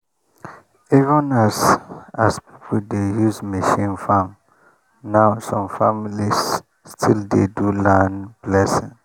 even as as people dey use machine farm now some families still dey do land blessing.